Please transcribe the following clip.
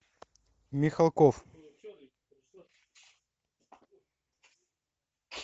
михалков